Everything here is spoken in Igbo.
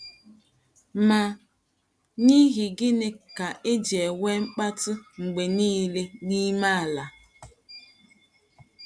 Ma n’ íhì gịnị ka e ji enwe mkpátụ mgbe nile n’ime ala?